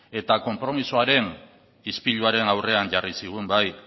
eta konpromisoaren ispiluaren aurrean jarri zigun bai